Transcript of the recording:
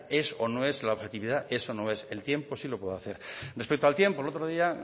es o no es si la objetividad es o no es el tiempo sí lo puede hacer respecto al tiempo el otro día